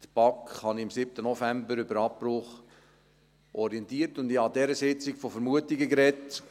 Die BaK habe ich am 7. November über den Abbruch orientiert, und ich habe an dieser Sitzung von Vermutungen gesprochen.